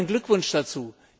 Meinen Glückwunsch dazu!